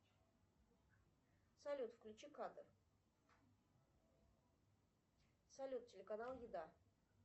салют включи катар салют телеканал еда